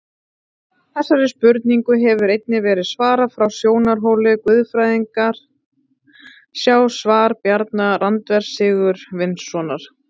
Þessari spurningu hefur einnig verið svarað frá sjónarhóli guðfræðinnar, sjá svar Bjarna Randvers Sigurvinssonar.